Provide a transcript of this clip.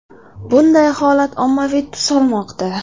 Bunday holat ommaviy tus olmoqda.